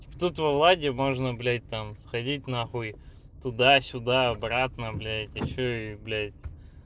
тут во владе можно блядь там сходить нахуй туда сюда обратно блядь ещё и блядь